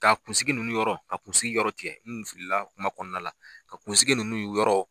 Ka kunsigi nunnu yɔrɔ ka kunsigi yɔrɔ tigɛ u kun filila kuma kɔnɔna la ka kunsigi nunnu yɔrɔ.